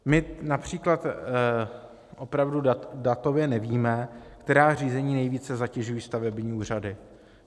My například opravdu datově nevíme, která řízení nejvíce zatěžují stavební úřady.